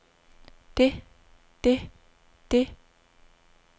det det det